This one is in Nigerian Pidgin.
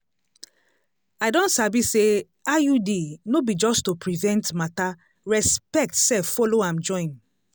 i don sabi say iud no be just to prevent matter respect sef follow am join.